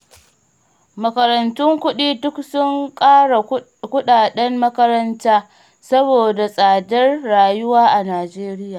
Makarantun kuɗi duk sun ƙara kuɗaɗen makaranta, saboda tsadar rayuwa a Najeriya